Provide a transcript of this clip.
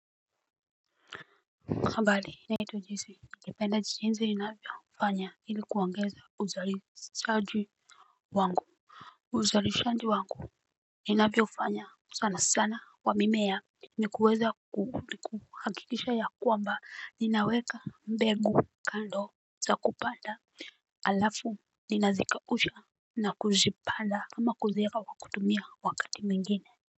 Kambali. Naitwa jesi. Nalipenda jinsi navyofanya ili kuongeza uzalishaji wangu. Uzalishaji wangu. Inavyo fanya sana sana wa mimea. Ni kuweza kuku hakikisha ya kwamba ni naweka mbegu kando za kupanda alafu ni nazakausha na kuzipanda kama kuzieka wa kutumia wakati mingine. Kwa hivyo.